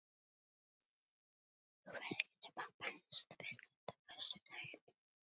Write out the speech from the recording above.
Þú ferð ekki til pabba þíns fyrr en á föstudaginn.